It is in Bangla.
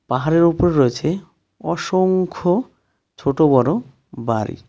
পাহাড়ের উপর রয়েছে অসংখ্য ছোটো বড়ো বাড়ি।